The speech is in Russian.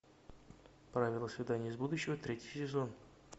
правила свиданий из будущего третий сезон